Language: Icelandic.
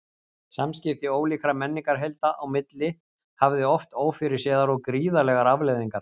Samskipti ólíkra menningarheilda á milli hafði oft ófyrirséðar og gríðarlegar afleiðingar.